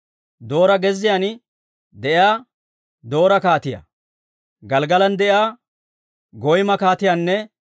Doora gezziyaan de'iyaa Doora kaatiyaa, Gelggalan de'iyaa Goyma kaatiyaanne